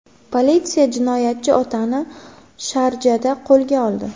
Politsiya jinoyatchi otani Sharjada qo‘lga oldi.